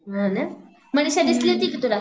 हा ना, मनीषा दिसली होती का तुला?